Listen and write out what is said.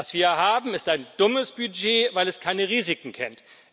Was wir haben, ist ein dummes Budget, weil es keine Risiken kennt.